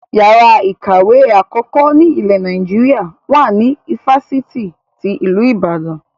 Yàrá ìkàwé àkọ́kọ́ ni ile Naijiria wà ní ifásitì ti ilu Ìbàdàn